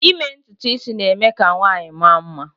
ime ntutu isi na-eme ka nwanyị mara mma